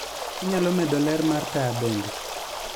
Inyalo medo ler mar taya bende